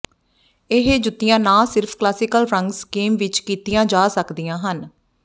ਇਹ ਜੁੱਤੀਆਂ ਨਾ ਸਿਰਫ ਕਲਾਸੀਕਲ ਰੰਗ ਸਕੀਮ ਵਿਚ ਕੀਤੀਆਂ ਜਾ ਸਕਦੀਆਂ ਹਨ